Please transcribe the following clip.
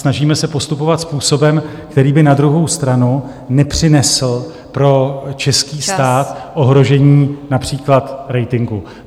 Snažíme se postupovat způsobem, který by na druhou stranu nepřinesl pro český stát ohrožení , například ratingu.